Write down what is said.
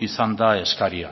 izan da eskaria